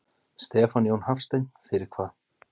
Stefán Jón Hafstein: Fyrir hvað?